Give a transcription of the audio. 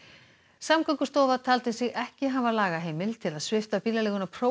Samgöngustofa taldi sig ekki hafa lagaheimild til að svipta bílaleiguna